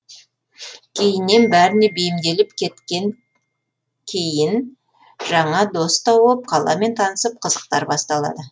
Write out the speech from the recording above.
кейіннен бәріне бейімделіп кеткен кейін жаңа досты боп қаламен танысып қызықтар басталады